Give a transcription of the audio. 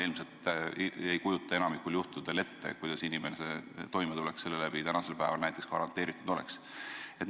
Ilmselt meist enamik ei kujuta ette, kuidas inimene sellega toime tuleks, kuidas sellega toimetulek garanteeritud oleks.